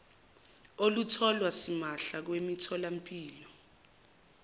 olutholwa simahla kwimitholampilo